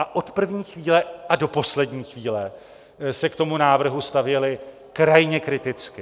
A od první chvíle a do poslední chvíle se k tomu návrhu stavěla krajně kriticky.